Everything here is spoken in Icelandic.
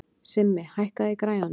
Simmi, hækkaðu í græjunum.